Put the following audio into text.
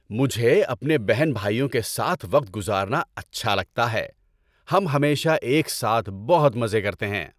مجھے اپنے بہن بھائیوں کے ساتھ وقت گزارنا اچھا لگتا ہے۔ ہم ہمیشہ ایک ساتھ بہت مزے کرتے ہیں۔